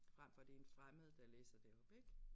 Frem for det en fremmed der læser det op ik